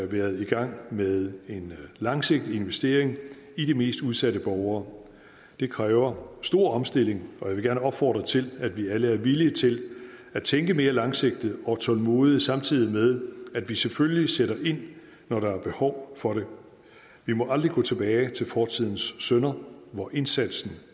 været i gang med en langsigtet investering i de mest udsatte borgere det kræver stor omstilling og jeg vil gerne opfordre til at vi alle er villige til at tænke mere langsigtet og tålmodigt samtidig med at vi selvfølgelig sætter ind når der er behov for det vi må aldrig gå tilbage til fortidens synder hvor indsatsen